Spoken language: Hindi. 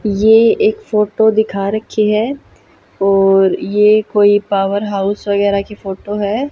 ये एक फोटो दिखा रखी है और ये कोई पावरहाउस वगैरह की फोटो है।